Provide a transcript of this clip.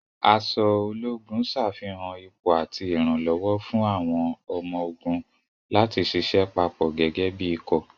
Aṣọ ológun ṣàfihàn ipò àti ìrànlọ́wọ́ fún àwọn ọmọ-ogun láti ṣiṣẹ́ papọ̀ gẹ́gẹ́ bí ikọ̀.